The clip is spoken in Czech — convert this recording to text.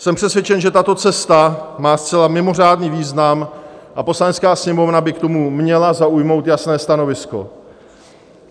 Jsem přesvědčen, že tato cesta má zcela mimořádný význam, a Poslanecká sněmovna by k tomu měla zaujmout jasné stanovisko.